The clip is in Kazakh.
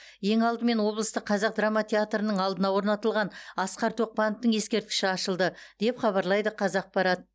ең алдымен облыстық қазақ драма театрының алдына орнатылған асқар тоқпановтың ескерткіші ашылды деп хабарлайды қазақпарат